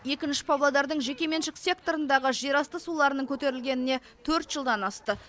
екінші павлодардың жекеменшік секторындағы жерасты суларының көтерілгеніне төрт жылдан асты